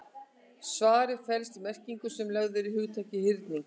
Svarið felst í merkingunni sem lögð er í hugtakið hyrning.